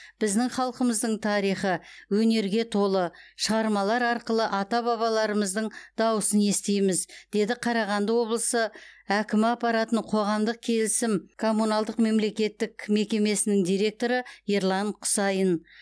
біздің халқымыздың тарихы өнерге толы шығармалар арқылы ата бабаларымыздың дауысын естиміз деді қарағанды облысы әкімі аппаратының қоғамдық келісім коммуналдық мемлекеттік мекемесінің директоры ерлан құсайын